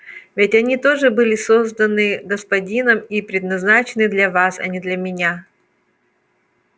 ведь они тоже были созданы господином и предназначены для вас а не для меня